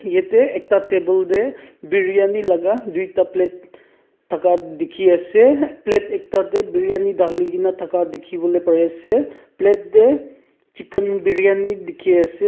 yate ekta table te briyani laga duita plate thaka dikhi ase plate ekta te briyani dhali kena thaka dikhi bole pari ase plate te chicken briyani dikhi ase.